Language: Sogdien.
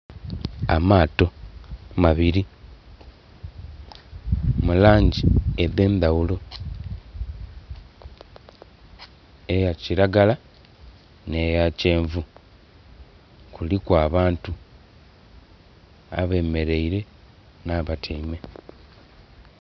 Amaato mabiri mu langi edhendaghulo, eya kiragala ne ya kyenvu kuliku abantu abemeraile n'abatyaime.